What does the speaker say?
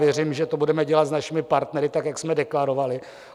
Věřím, že to budeme dělat s našimi partnery tak, jak jsme deklarovali.